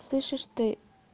слышишь ты